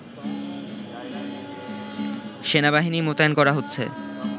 সেনাবাহিনী মোতায়েন করা হচ্ছে